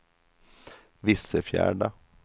Vissefjärda